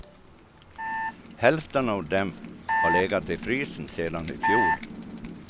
Hälften av dem har legat i frysen sedan i fjol.